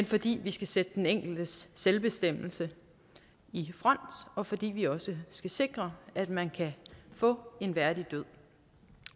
fordi vi skal sætte den enkeltes selvbestemmelse i front og fordi vi også skal sikre at man kan få en værdig død